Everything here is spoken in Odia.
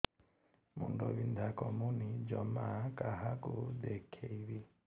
ମୁଣ୍ଡ ବିନ୍ଧା କମୁନି ଜମା କାହାକୁ ଦେଖେଇବି